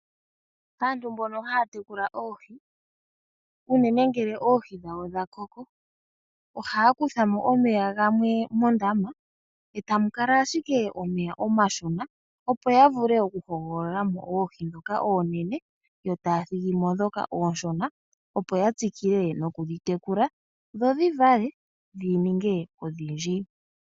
Aantu mbono haya tekula oohi, unene ngele oohi dhawo dha koko, ohaya kuthamo omeya gamwe mondama, etamu kala ashike omeya omashona, opo ya vule oku hogolola mo oohi ndhoka oonene yo taya thigi mo ndhoka oonshona, opo ya tsikile noku dhitekula, dho dhivale dhininge odhindji.